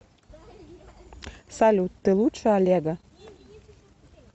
салют ты лучше олега